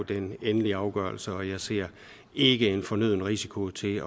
den endelige afgørelse og jeg ser ikke en fornøden risiko til